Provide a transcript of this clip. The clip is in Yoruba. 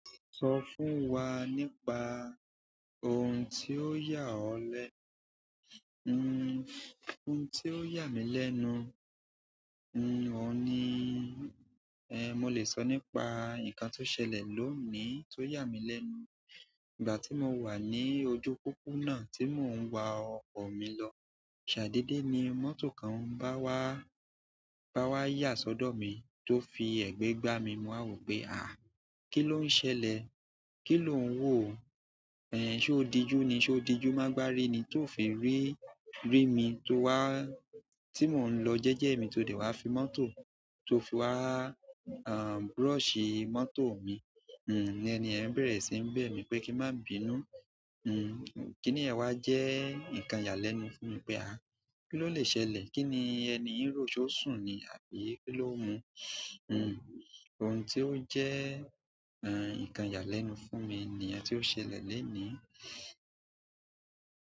Sọ fún wa nípa ohun tí ó yà ọ́ lẹ́, n-n-n ohun tí ó yà mí lẹ́nu. N-n ọ́ ni, ẹ́ mo lè sọ nípa nǹkan tó ṣẹlẹ̀ lónìí tó yà mí lẹ́nu. Ìgbà tí mo wà ní ojú pópónà tí mò ń wa ọkọ̀ mi lọ, ṣàdédé ni mọ́tò kan bá wá, bá wá yà sọ́dọ̀ mi tó fi ẹ̀gbẹ́ gbá mi. Mo á wò pé àá ki ló ń ṣẹlẹ̀? Kí lò ń wò? Ẹ̀ ẹ́ ṣé ó dijú ni, ṣé ó dijú má gba" rí ni tó fi rí, rí mi tó wá, tí mò ń lọ jẹ́jẹ́ mi tó dé wá fi mọ́tò, tó fi wá, a a brọ́ọ̀ṣì mọ́tò mi. Ìyẹn ẹni yẹn bẹ̀rẹ̀ sí ní bẹ̀ mí pé kí n má bínú. N n kí ní yẹn wa jẹ́ nǹkan ìyà lẹ́nu fún mi? Pé àá ki ló lè ṣẹlẹ̀? Kí ni ẹni ń rò? Ṣé ó sùn ni àbí kí ló ń mu? N n ohun tí ó jẹ́, e ẹ́ nǹkan yà lẹ́nu fún mi nìyẹn tí ó ṣẹlẹ̀ lónìí.